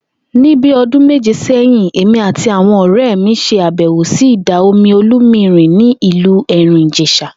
Ní bí o̩dún méje sé̩yìn, èmi àti àwo̩n òré̩ mi s̩e àbè̩wò sí ìdà-omi Olúmirìn ní ìlú Èrìn-Ìjès̩à